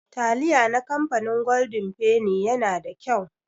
Taliya na kamfanin goldin feni yana da kyau.